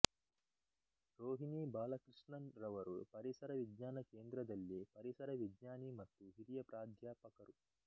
ರೋಹಿಣಿ ಬಾಲಕೃಷ್ಣನ್ ರವರು ಪರಿಸರ ವಿಜ್ಞಾನ ಕೇಂದ್ರದಲ್ಲಿ ಪರಿಸರ ವಿಜ್ಞಾನಿ ಮತ್ತು ಹಿರಿಯ ಪ್ರಾಧ್ಯಾಪಕರು